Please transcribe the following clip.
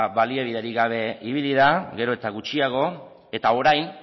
baliabiderik gabe ibili da gero eta gutxiago eta orain